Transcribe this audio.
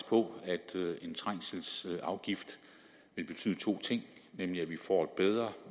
på at en trængselsafgift vil betyde to ting nemlig at vi får et bedre